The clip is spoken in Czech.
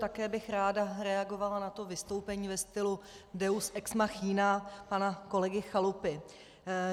Také bych ráda reagovala na to vystoupení ve stylu deus ex machina pana kolegy Chalupy.